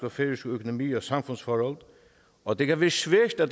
og færøsk økonomi og samfundsforhold og det kan blive svært at